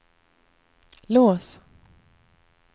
lås